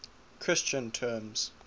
christian terms